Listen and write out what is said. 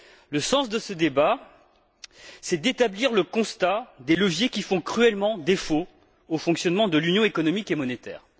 Le sens de ce débat, c'est d'établir le constat des leviers qui font cruellement défaut au fonctionnement de l'union économique et monétaire.